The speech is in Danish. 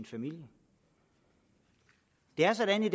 familie det er sådan i